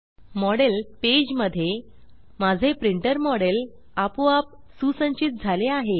model model page मध्ये माझे printer model आपोआप सुसंचित झाले आहे